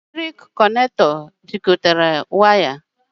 Njikọ eletrik jikọtara wires ọnụ na nchekwa.